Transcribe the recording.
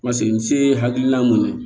Paseke n se ye hakilina mun ye